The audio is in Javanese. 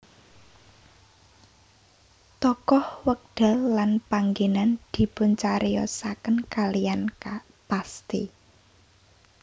Tokoh wekdal lan panggenan dipuncariyosaken kaliyan pasti